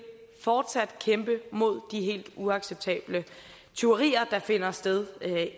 fortsat kæmpe mod de helt uacceptable tyverier der finder sted